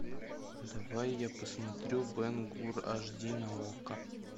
давай я посмотрю бен гур аш ди на окко